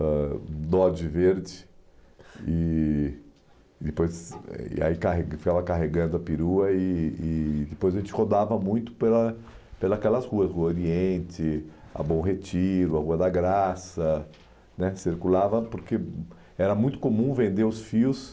ãh Dodge verde e depois e aí carrega ficava carregando a perua e e depois a gente rodava muito pela pelas aquelas ruas, o Oriente, a Bom Retiro, a Rua da Graça né circulava porque era muito comum vender os fios